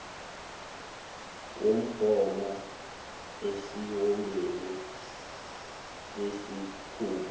wumgomo esiwombeni sesikhungo